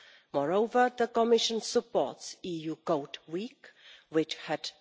Moreover, the Commission supports EU Code Week, which had